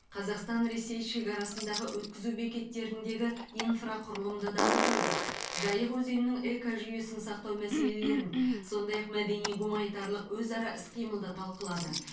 қазақстан ресей шекарасындағы өткізу бекеттеріндегі инфрақұрылымды дамытуды жайық өзенінің экожүйесін сақтау мәселелерін сондай ақ мәдени гуманитарлық өзара іс қимылды талқылады